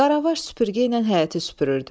Qaravaş süpürgə ilə həyəti süpürürdü.